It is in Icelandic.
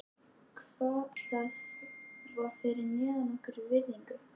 Það var fyrir neðan okkar virðingu.